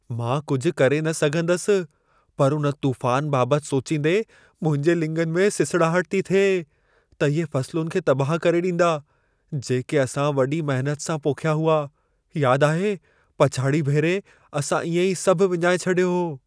मां कुझ करे न सघंदसि, पर उन तूफ़ान बाबति सोचींदे मुंहिंजे लिङनि में सिसड़ाहट थी थिए त इहे फ़सुलुनि खे तबाहु करे ॾींदा, जेके असां वॾी महिनत सां पोखिया हुआ। यादि आहे, पछड़ीअ भेरे असां इएं ई सभु विञाए छॾियो हो।